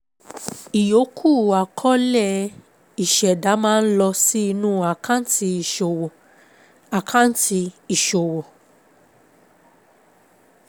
Ìyòókù àkọọ́lẹ̀ ìṣẹ̀dá máa ń lọ sí inú àkáǹtì ìṣòwò. àkáǹtì ìṣòwò.